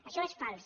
això és fals